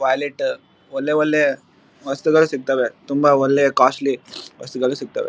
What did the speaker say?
Wallet ಒಲ್ಲೆ ಒಲ್ಲೆ ವಸ್ತುಗಳು ಸಿಗತ್ತವೆ ತುಂಬಾ ಒಲ್ಲೆ ಕಾಸ್ಟ್ಲಿ ವಸ್ತುಗಳು ಸಿಗತ್ತವೆ.